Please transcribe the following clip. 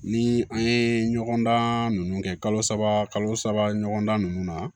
Ni an ye ɲɔgɔndan ninnu kɛ kalo saba kalo saba ɲɔgɔnna nunnu na